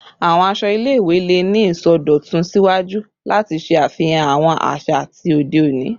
Awọn aṣọ ile-iwe le ni isọdọtun siwaju lati ṣe afihan awọn aza ti ode oni